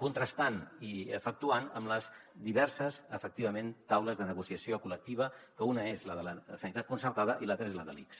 contrastant i efectuant en les diverses efectivament taules de negociació col·lectiva que una és la de la sanitat concertada i l’altra és la de l’ics